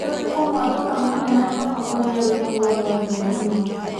nĩ ũrikũ mũatuka mũnene mũno ũrĩa wĩ mũoyo thĩ ĩno